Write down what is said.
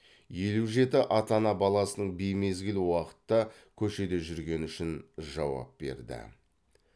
елу жеті ата ана баласының беймезгіл уақытта көшеде жүргені үшін жауап берді